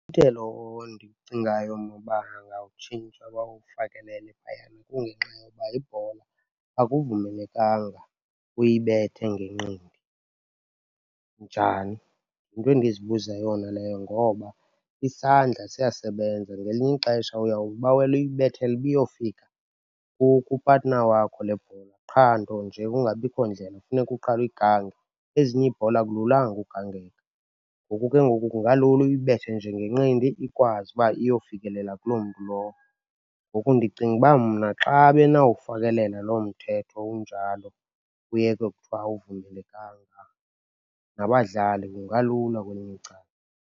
ondiwucingayo mna uba angawutshintsha bawufakelele phayana kungenxa yoba ibhola akuvumelekanga uyibethe ngenqindi. Njani? Yinto endizibuza yona leyo ngoba isandla siyasebenza. Ngelinye ixesha uyawubawela uyibethela uba iyofika kupatina wakho le bhola, qha nto nje kungabikho ndlela, funeke uqale uyigange. Ezinye iibhola akululanga ugangeka, ngoku ke ngoku kungalula uyibethe nje ngenqindi, ikwazi uba iyofikelela kuloo mntu lowo. Ngoku ndicinga uba mna xa benawufakelela loo mthetho unjalo, kuyekwe ukuthiwa awuvumelekanga, nabadlali kungalula kwelinye icala.